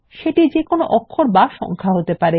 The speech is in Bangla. সেটি একটি হরফ বা সংখ্যা হতে পারে